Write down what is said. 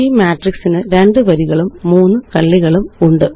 ഈmatrix ന്2 വരികളും 3 കള്ളികളുമുണ്ട്